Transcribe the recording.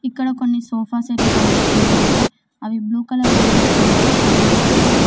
ఇక్కడ కొన్ని సోఫా సెట్లు కనిపిస్తున్నాయి అవి బ్లూ కలర్ రంగులో కనిపిస్తున్నాయి.